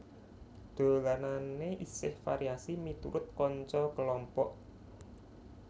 Dolanane isih variasi miturut kanca kelompok